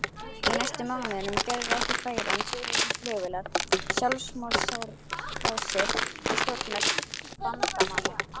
á næstu mánuðum gerðu ekki færri en tvö þúsund flugvélar sjálfsmorðsárásir á skotmörk bandamanna